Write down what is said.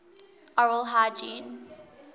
oral hygiene